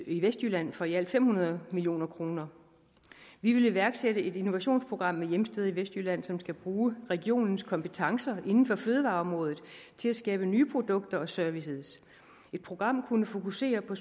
i vestjylland for i alt fem hundrede million kroner vi vil iværksætte et innovationsprogram med hjemsted i vestjylland som skal bruge regionens kompetence inden for fødevareområdet til at skabe nye produkter og services et program kunne fokusere på